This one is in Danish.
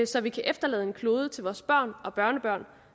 så vi kan efterlade en klode til vores børn og børnebørn